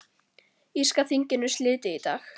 Írska þinginu slitið í dag